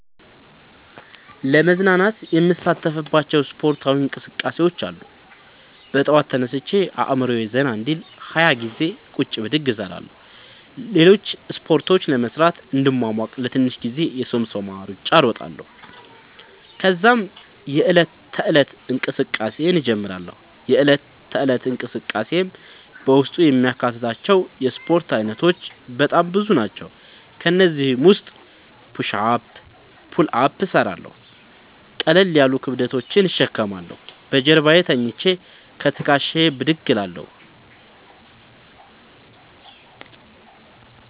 ለመዝናናት የምሣተፍባቸዉ እስፖርታዊ እንቅስቃሤዎች አሉ። በጠዋት ተነስቼ አእምሮየ ዘና እንዲል 20ገዜ ቁጭ ብድግ እሰራለሁ። ሌሎችን እስፖርቶች ለመሥራት እንድሟሟቅ ለትንሽ ጊዜ የሶምሶማ እሩጫ እሮጣለሁ። ተዛም የዕለት ተለት እንቅስቃሴየን እጀምራለሁ። የእለት ተለት እንቅስቃሴየም በውስጡ የሚያካትታቸዉ የእስፖርት አይነቶች በጣም ብዙ ናቸዉ። ከእነዚህም ዉስጥ ፑሽ አፕ ፑል አፕ እሠራለሁ። ቀለል ያሉ ክብደቶችን እሸከማለሁ። በጀርባየ ተኝቸ ከትክሻየ ብድግ እላለሁ።